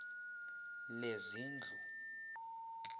lezindlu